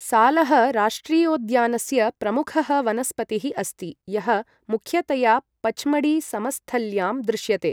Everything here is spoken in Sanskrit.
सालः राष्ट्रियोद्यानस्य प्रमुखः वनस्पतिः अस्ति यः मुख्यतया पच्मढी समस्थल्यां दृश्यते।